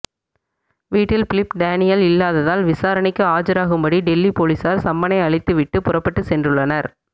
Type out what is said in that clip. வீட்டில் Philip Daniel இல்லாததால் விசாரணைக்கு ஆஜராகும்படி டெல்லி போலீசார் சம்மனை அளித்து விட்டு புறப்பட்டு சென்றுள்ளனர்